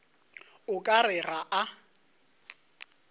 o ka re ga a